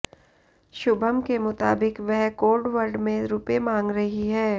शुभम के मुताबिक वह कोडवर्ड में रुपए मांग रही है